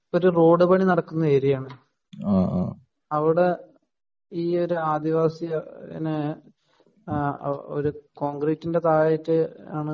ഇതൊരു റോഡ് പണി നടക്കുന്ന ഏരിയ ആണ് . അവിടെ ഈ ആദിവാസിനെ ഒരു കോൺക്രീറ്റിന്റെ താഴെ ആയിട്ടാണ്